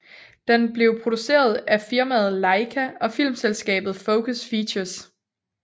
Den blev produceret af firmaet LAIKA og filmselskabet Focus Features